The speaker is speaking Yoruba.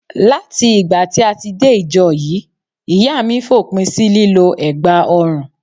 Láti ìgbà tí a ti dé ìjọ yìí, ìyá mi fòpin sí lílọ egbà ọrùn.